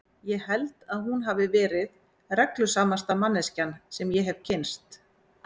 Ég held að hún hafi verið reglusamasta manneskjan sem ég hefi kynnst.